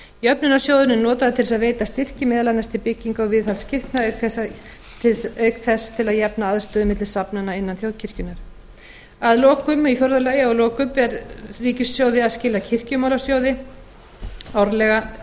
jöfnunarsjóðurinn er notaður til að veita styrki meðal annars til bygginga og viðhalds kirkna auk þess til að jafna aðstöðu milli safnaða innan þjóðkirkjunnar í fjórða lagi og að lokum ber ríkissjóði að skila kirkjumálasjóði árlega